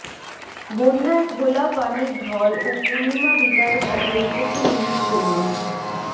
বন্যার ঘোলা পানির ঢল ও পূর্ণিমা বিদায়ের সাথে উপকূল ইলিশশূন্য